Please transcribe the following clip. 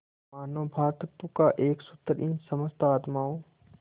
मानों भ्रातृत्व का एक सूत्र इन समस्त आत्माओं